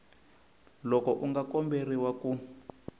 loko u nga komberiwa ku